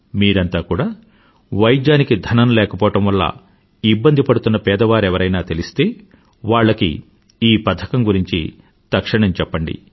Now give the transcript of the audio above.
మీరంత కూడా వైద్యానికి ధనం లేకపోవడం వల్ల ఇబ్బంది పడుతున్న పేదవారెవరైనా తెలిస్తే వాళ్ళకి ఈ పథకం గురించి తక్షణం చెప్పండి